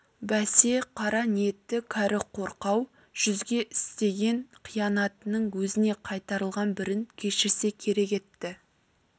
бәсе қара ниетті кәрі қорқау жүзге істеген қиянатының өзіне қайтарылған бірін кешірсе керек етті